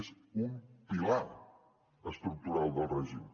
és un pilar es tructural del règim